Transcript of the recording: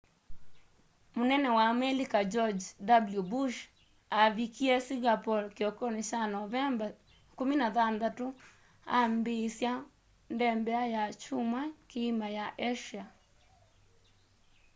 mũnene wa amelika george w bush aavikie singapore kĩokonĩ kya novemba 16 aambĩĩsya ndembea ya kyumwa kĩima ya asia